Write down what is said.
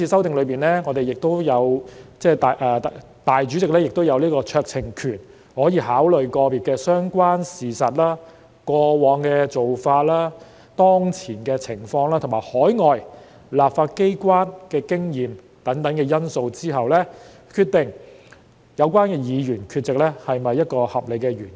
當然，在今次修訂中，立法會主席亦擁有酌情權，可在考慮個別個案的相關事實、過往做法、當前情況及海外立法機關的經驗等因素後，決定有關議員缺席是否有合理原因。